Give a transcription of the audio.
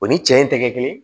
O ni cɛ in tɛ kɛ kelen ye